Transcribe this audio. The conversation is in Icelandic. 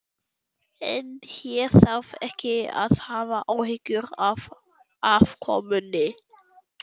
En hér þarf ekki að hafa áhyggjur af afkomunni.